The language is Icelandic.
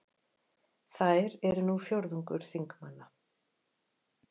Þær eru nú fjórðungur þingmanna